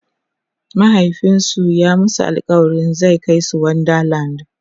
mahaifinsu ya masu alkawalin zai Kai su wonder land